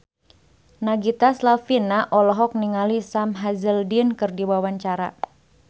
Nagita Slavina olohok ningali Sam Hazeldine keur diwawancara